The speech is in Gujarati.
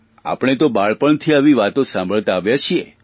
આપણે તો બચપણથી આવી વાતો સાંભળતા આવ્યા છીએ